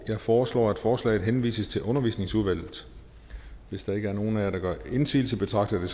jeg foreslår at forslaget henvises til undervisningsudvalget hvis der ikke er nogen af jer der gør indsigelse betragter jeg